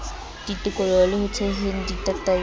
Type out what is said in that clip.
ditoloko le ho theheng ditataiso